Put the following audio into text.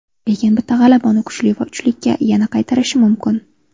Lekin bitta g‘alaba uni kuchli uchlikka yana qaytarishi mumkin.